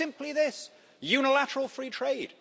Simply this unilateral free trade.